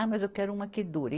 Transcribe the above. Ah, mas eu quero uma que dure.